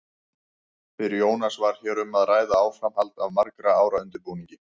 Fyrir Jónas var hér um að ræða áframhald af margra ára undirbúningi.